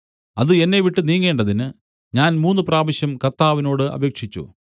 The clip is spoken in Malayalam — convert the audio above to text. അത് എന്നെവിട്ടു നീങ്ങേണ്ടതിന് ഞാൻ മൂന്നുപ്രാവശ്യം കർത്താവിനോട് അപേക്ഷിച്ചു